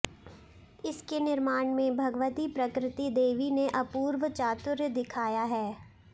इसके निर्माण में भगवती प्रकृति देवी ने अपूर्व चातुर्य दिखाया है